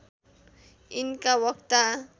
यिनका वक्ता